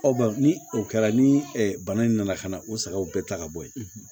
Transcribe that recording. ni o kɛra ni bana in nana ka na o sagaw bɛɛ ta ka bɔ yen